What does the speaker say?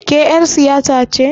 Ke ƴar siyasa ce?